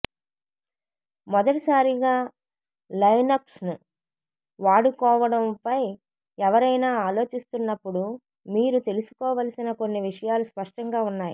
మొదటిసారిగా లైనక్స్ను వాడుకోవడంపై ఎవరైనా ఆలోచిస్తున్నప్పుడు మీరు తెలుసుకోవలసిన కొన్ని విషయాలు స్పష్టంగా ఉన్నాయి